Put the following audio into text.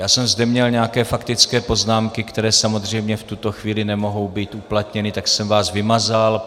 Já jsem zde měl nějaké faktické poznámky, které samozřejmě v tuto chvíli nemohou být uplatněny, tak jsem vás vymazal.